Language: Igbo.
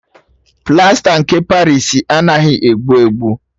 Plasta nke Parịsi anaghị egbu egbu.